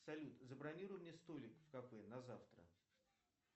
салют забронируй мне столик в кафе на завтра